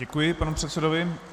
Děkuji panu předsedovi.